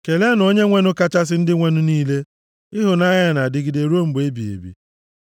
Keleenụ Onyenwenụ kachasị ndị nwenụ niile. Ịhụnanya ya na-adịgide ruo mgbe ebighị ebi.